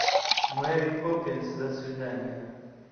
мэри поппинс до свидания